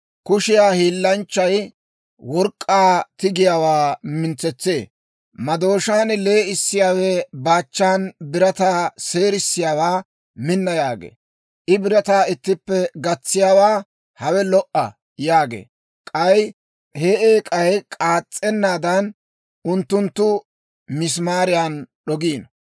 Kushiyaa hiillanchchay work'k'aa tigiyaawaa mintsetsee; Madooshaan lee'issiyaawe baachan birataa seerisiyaawaa, «Minna» yaagee. I birataa ittippe gatsiyaawaa, «Hawe lo"a» yaagee; k'ay he eek'ay k'aas's'ennaadan, unttunttu misimaariyan d'ogiino.